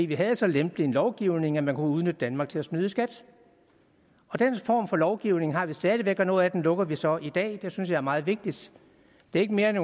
vi havde så lempelig en lovgivning at man kunne udnytte danmark til at snyde i skat den form for lovgivning har vi stadig væk og noget af det lukker vi så i dag det synes jeg er meget vigtigt det er ikke mere end